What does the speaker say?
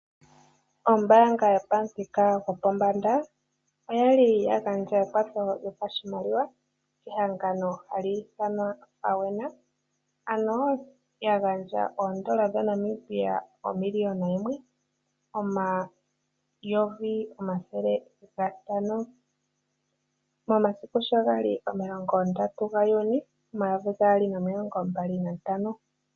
Ombanga yopamuthika gwopombanda oya li ya gandja ekwatho lyopashimaliwa kehangano haliithanwa FAWENA ano ya gandja oondola dhaNamibia omiliyona yimwe omayovi omathele gatano momasiku 30 Juni 2025.